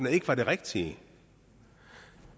ikke var det rigtige